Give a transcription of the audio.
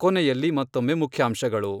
ಕೊನೆಯಲ್ಲಿ ಮತ್ತೊಮ್ಮೆ ಮುಖ್ಯಾಂಶಗಳು.